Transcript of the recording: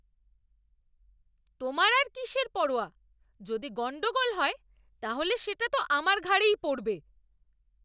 তোমার আর কিসের পরোয়া? যদি গণ্ডগোল হয় তাহলে সেটা তো আমার ঘাড়েই পড়বে।